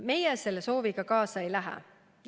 Meie selle sooviga kaasa ei lähe.